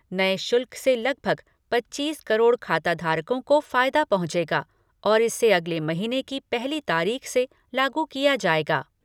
नये शुल्क से लगभग पच्चीस करोड़ खाता धारकों को फायदा पहुंचेगा और इसे अगले महीने की पहली तारीख से लागू किया जाएगा।